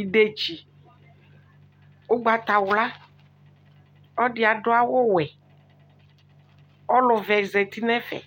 edetsi ʋgbatawla ɔdiadʋ awʋwɛ ɔlʋvɛ zati nɛƒɛ